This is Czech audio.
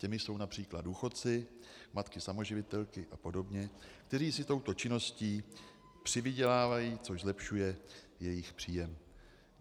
Těmi jsou například důchodci, matky samoživitelky a podobně, kteří si touto činností přivydělávají, což zlepšuje jejich příjem.